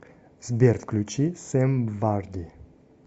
сбер включи сэм варди